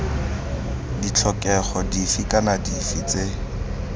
ditlhokego dife kana dife tse